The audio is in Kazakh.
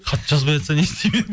хат жазбайатса не істеймін енді